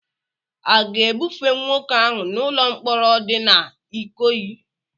Aga-ebufe nwoke ahụ n'ụlọ mkpọrọ di na Ikoyi?